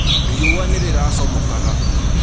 Rĩũa nĩrĩracomokaga